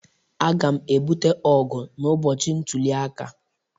Aga'm ebute ọgụ n'ụbọchị ntuli aka